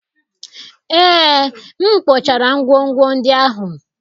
Ee, m kpochara ngwongwo ndị ahụ.